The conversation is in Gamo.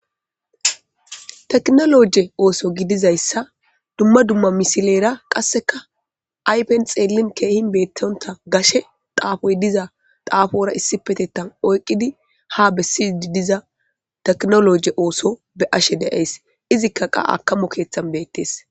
tekinoloje ooso gidizayssa dumma dumma misilera qasseka aypen xeelin keehin beettonta gashe xaafoy diza xaafora issipetettan oyqidi ha bessidi diza teknoloje ooso be ashe deyays izikka qa akamo keeththan beettees